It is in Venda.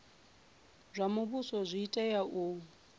zwa muvhuso zwi tea u